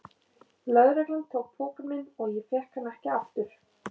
Lögreglan tók pokann minn og ég fékk hann ekki aftur.